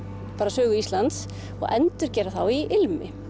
sögu Íslands og endurgera þá í ilmi